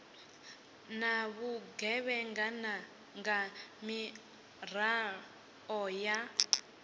na vhugevhenga nga miraḓo ya